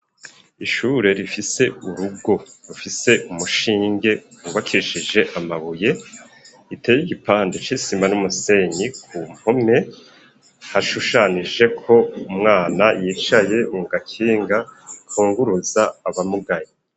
Ishure rifise urugo rufise umushinge ,wubakishije amabuye ,iteye igipande c'isima n'umusenyi ku mpome ,hashushanijeko umwana yicaye mu gakinga kunguruza abamugaye.